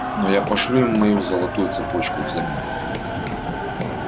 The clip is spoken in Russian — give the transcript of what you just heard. но я пошлю им мою золотую цепочку взамен